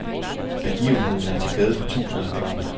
Begivenheden er til glæde for tusinder af børn.